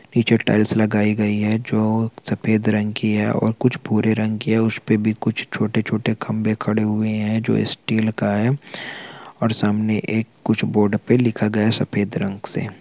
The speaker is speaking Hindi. पीछे टाइल्स लगाई गयी है जो सफेद रंग की है और कुछ भूरे रंग की है उस पे भी कुछ छोटे -छोटे खम्बे खड़े हुए है जो स्टील का है और सामने एक कुछ बोर्ड पे लिखा गया सफेद रंग से--